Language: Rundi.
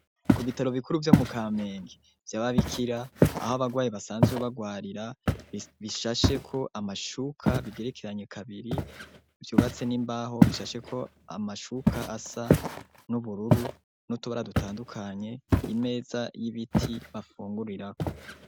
ku bitaro bikuru vyo mu kamenge vyababikira aho abagwayi basanzwe bagwarira bishashe ko amashuka bigerekeranye kabiri vyubatse n'imbaho bishasheko amashuka asa n'ubururu n'utubara dutandukanye imeza y'ibiti bafungurirako